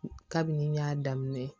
Kabini n y'a daminɛ